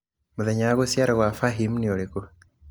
mũthenya wa gũciarwo gwa fahim niũrĩkũ